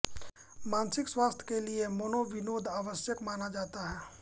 मानसिक स्वास्थ्य के लिए मनोविनोद आवश्यक माना जाता है